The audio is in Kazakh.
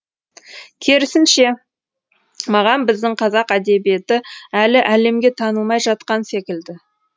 керісінше маған біздің қазақ әдебиеті әлі әлемге танылмай жатқан секілді